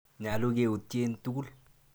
Nyalu keutye tukul.